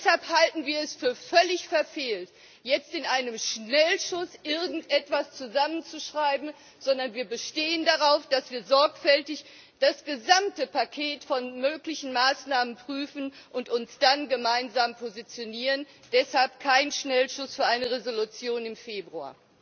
Deshalb halten wir es für völlig verfehlt, jetzt in einem Schnellschuss irgendetwas zusammenzuschreiben, sondern wir bestehen darauf, dass wir sorgfältig das gesamte Paket von möglichen Maßnahmen prüfen und uns dann gemeinsam positionieren Deshalb kein Schnellschuss für eine Resolution im Februar.